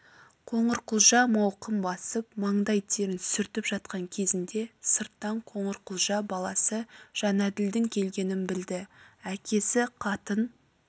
қоңырқұлжа мауқын басып маңдай терін сүртіп жатқан кезінде сырттан қоңырқұлжа баласы жәнәділдің келгенін білді әкесі қатын